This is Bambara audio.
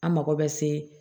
An mago bɛ se